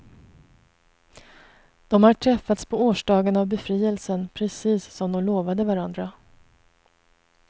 De har träffats på årsdagen av befrielsen, precis som de lovade varandra.